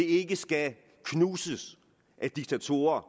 ikke skal knuses af diktatorer